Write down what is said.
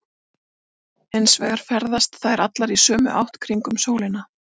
Hins vegar ferðast þær allar í sömu átt kringum sólina.